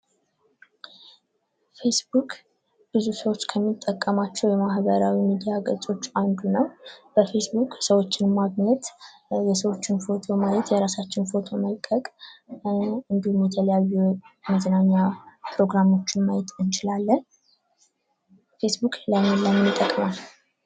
ፌስቡክ ብዙ ሰዎች ከሚጠቀሟቸው የማህበራዊ ሚድያ ገፆች አንዱ ነው ። በፌስቡክ ሰዎችን ማግኘት የሰዎችን ፎቶ ማየት የራሳችን ፎቶ መልቀቅ እንዲሁም የተለያዩ መዝናኛ ፕሮግራሞችን ማየት እንችላለን ። ፌስቡክ ለምን ለምን ይጠቅማል?